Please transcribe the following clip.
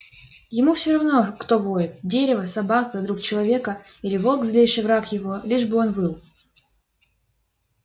ему все равно кто воет дерево собака друг человека или волк злейший враг его лишь бы он выл